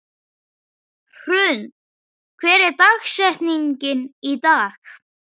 Hrund, hver er dagsetningin í dag?